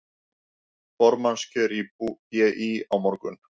Formannskjör í BÍ á morgun